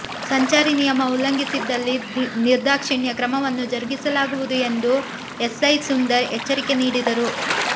ಸಂಚಾರಿ ನಿಯಮ ಉಲ್ಲಂಘಿಸಿದಲ್ಲಿ ನಿರ್ದಾಕ್ಷಿಣ್ಯ ಕ್ರಮವನ್ನು ಜರುಗಿಸಲಾಗುವುದು ಎಂದು ಎಸ್ಐ ಸುಂದರ್ ಎಚ್ಚರಿಕೆ ನೀಡಿದರು